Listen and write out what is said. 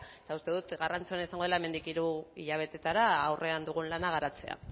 eta uste dut garrantzitsua izango dela hemendik hiru hilabeteetara aurrean dugun lana garatzea